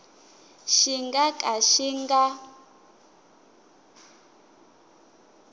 xi nga ka xi nga